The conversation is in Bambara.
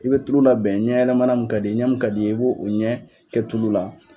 I bɛ tulu la bɛn ɲɛ yɛlɛmana min kad'i ɲɛ, i b' o ɲɛ kɛ tulu la.